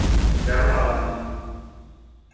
Bjarmalandi